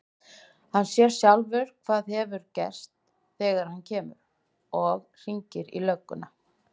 Er talan núll talin til sléttra talna?